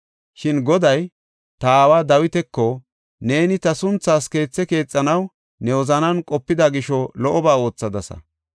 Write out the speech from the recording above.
Shin Goday, ta aawa Dawitako, ‘Neeni ta sunthaas keethe keexanaw ne wozanan qopida gisho lo77oba oothadasa.